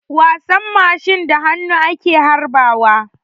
Wasan mashi da hannu ake harba wa.